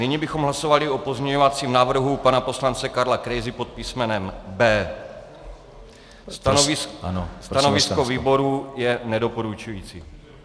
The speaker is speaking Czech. Nyní bychom hlasovali o pozměňovacím návrhu pana poslance Karla Krejzy pod písmenem B. Stanovisko výboru je nedoporučující.